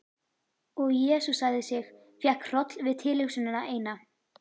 Og jesúsaði sig, fékk hroll við tilhugsunina eina.